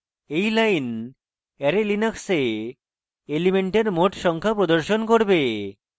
এই line array linux এ elements মোট সংখ্যা প্রদর্শন করবে